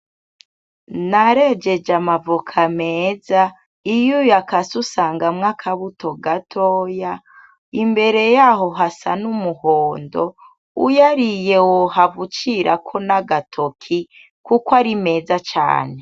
Narejeje amavoka meza iyo uyakase usangamwo akabuto gatoya, imbere yaho hasa n'umuhondo, uyariye wohava ucirako n'agatoki kuko ari meza cane.